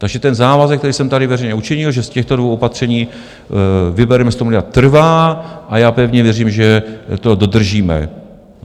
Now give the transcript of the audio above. Takže ten závazek, který jsem tady veřejně učinil, že z těchto dvou opatření vybereme 100 miliard, trvá a já pevně věřím, že to dodržíme.